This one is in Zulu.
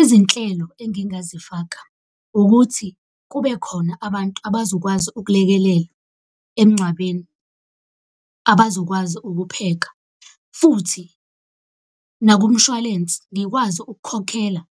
Izinhlelo engingazifaka ukuthi kube khona abantu abazokwazi ukulekelela emngcwabeni, abazokwazi ukupheka. Futhi nakumshwalense ngikwazi ukukhokhela